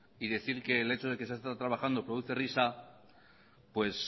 y decir que el hecho de que se ha estado trabajando produce risa pues